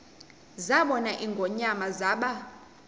zabona ingonyama zaba